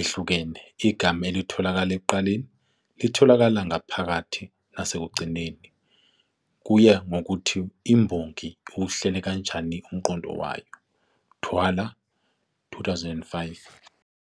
ehlukene. Igama ulithola ekuqaleni, litholakale maphakathi nasekugcineni, kuye ngokuthi imbongi iwuhlele kanjani umqondo wayo, Thwala, 2005-75.